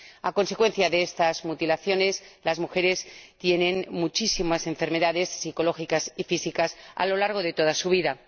A consecuencia de estas mutilaciones, las mujeres tienen muchísimas enfermedades psicológicas y físicas a lo largo de toda su vida.